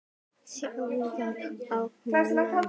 Sjóða í honum mann!